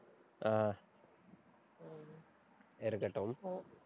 அஹ் இருக்கட்டும்.